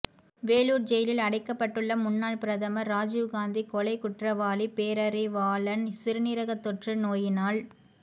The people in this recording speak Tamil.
வேலூர் ஜெயிலில் அடைக்கப்பட்டுள்ள முன்னாள் பிரதமர் ராஜீவ்காந்தி கொலை குற்றவாளி பேரறிவாளன் சிறுநீரக தொற்று நோயினால்